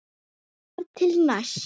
Þar til næst.